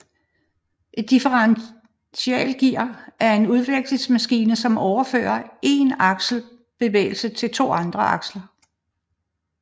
Et Differentialgear er en udvekslingsmekanisme som overfører én aksels bevægelse til to andre aksler